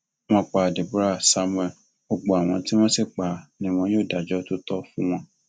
wọn pa deborah samuel gbogbo àwọn tí wọn sì pa á ni wọn yóò dájọ tó tọ fún wọn